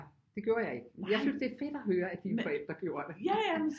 Det gjorde jeg ikke men jeg synes det er fedt at høre at dine forældre gjorde det